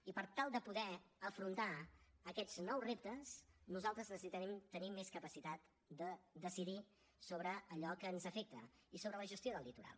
i per tal de poder afrontar aquests nous reptes nosaltres necessitem tenir més capacitat de decidir sobre allò que ens afecta i sobre la gestió del litoral